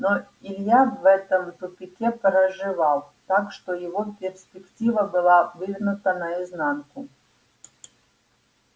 но илья в этом тупике проживал так что его перспектива была вывернута наизнанку